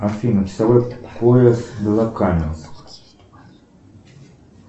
афина часовой пояс белокаменск